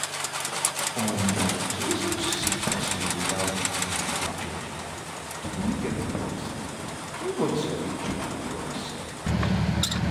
um to lis ten to sick person without um judging dem go make everybody sabi everybody sabi each oda well um for hospital.